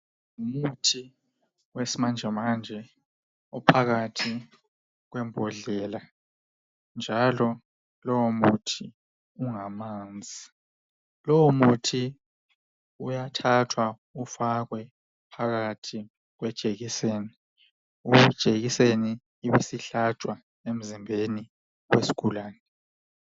Umuthi wesimanjemanje, uphakathi kwembodlela, njalo lowomuthi ungamanzi. Lowomuthi uyathathwa ufakwe phakathi kwejekiseni. Leyojekiseni ibe isihlatshwa emzimbeni wesigulane.